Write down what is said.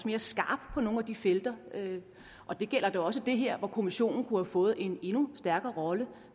mere skarp på nogle af de felter og det gælder da også det her hvor kommissionen kunne have fået en endnu stærkere rolle